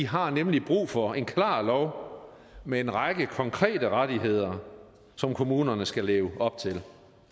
har nemlig brug for en klar lov med en række konkrete rettigheder som kommunerne skal leve op til